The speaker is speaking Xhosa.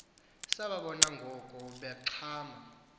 sababona ngoku benxhama